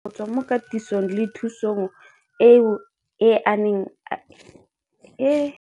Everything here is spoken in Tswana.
Seno ke ka ditebogo go tswa mo katisong le thu song eo a e neilweng ke ba Lenaane la Tshegetso le Tlhabololo ya